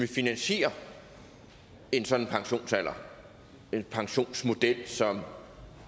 finansiere en sådan pensionsalder en pensionsmodel som